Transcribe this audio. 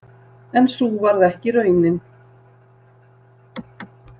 En sú varð ekki raunin.